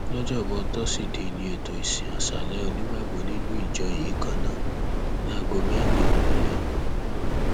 lọjọbọ tọsídẹẹ ní ètò ìsìn aṣáálẹ onígbàgbọ nínú ìjọ yìí kan náà láago mẹrin ìrọlẹ